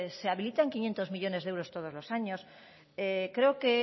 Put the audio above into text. se habilitan quinientos millónes de euros todos los años creo que